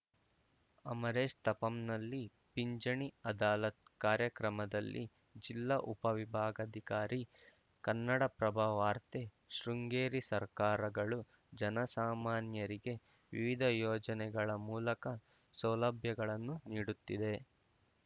ಅಮರೇಶ್‌ ತಾಪಂನಲ್ಲಿ ಪಿಂಚಣಿ ಅದಾಲತ್‌ ಕಾರ್ಯಕ್ರಮದಲ್ಲಿ ಜಿಲ್ಲಾ ಉಪವಿಭಾಗಾಧಿಕಾರಿ ಕನ್ನಡಪ್ರಭ ವಾರ್ತೆ ಶೃಂಗೇರಿ ಸರ್ಕಾರಗಳು ಜನಸಾಮಾನ್ಯರಿಗೆ ವಿವಿಧ ಯೋಜನೆಗಳ ಮೂಲಕ ಸೌಲಭ್ಯಗಳನ್ನು ನೀಡುತ್ತಿದೆ